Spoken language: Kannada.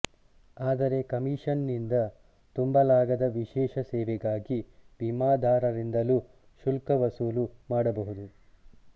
ಆದರೆ ಕಮೀಷನ್ನಿನಿಂದ ತುಂಬಲಾಗದ ವಿಶೇಷ ಸೇವೆಗಾಗಿ ವಿಮಾದಾರರಿಂದಲೂ ಶುಲ್ಕವಸೂಲು ಮಾಡಬಹುದು